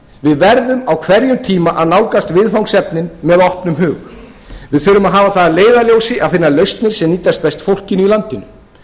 við verðum á hverjum tíma að nálgast viðfangsefnin með opnum hug við þurfum að hafa það að leiðarljósi að finna lausnir ein nýtast best fólkinu í landinu